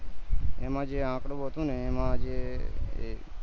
એમાં જે આકડો હતો ને એમાં જે એ